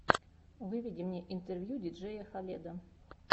выведи мне интервью диджея халеда